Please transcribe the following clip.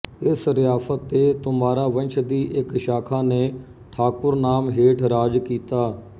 ਇਸ ਰਿਆਸਤ ਤੇ ਤੋਮਾਰਾ ਵੰਸ਼ ਦੀ ਇੱਕ ਸ਼ਾਖਾ ਨੇ ਠਾਕੁਰ ਨਾਮ ਹੇਠ ਰਾਜ ਕੀਤਾ